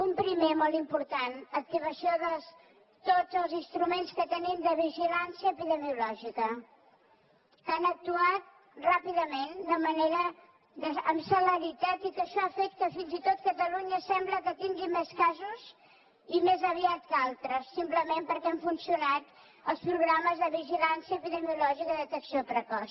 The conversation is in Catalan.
un primer molt important activació de tots els instruments que tenim de vigilància epidemiològica que han actuat ràpidament amb celeritat i que això ha fet que fins i tot catalunya sembla que tingui més casos i més aviat que altres simplement perquè han funcionat els programes de vigilància epidemiològica i detecció precoç